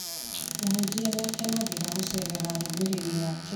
Mũhunjia nĩ akenagĩra gũceerera arũmĩrĩri ake